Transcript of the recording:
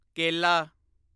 ਕੇਲਾ